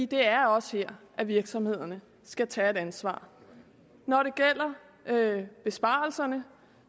det er også her virksomhederne skal tage et ansvar når det gælder besparelserne